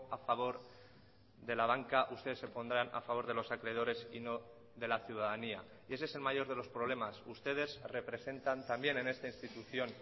a favor de la banca ustedes se pondrán a favor de los acreedores y no de la ciudadanía y ese es el mayor de los problemas ustedes representan también en esta institución